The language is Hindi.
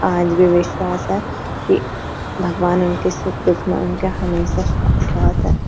आज भी विश्वास है कि भगवान उनके सुख दुख में उनके हमेशा साथ है।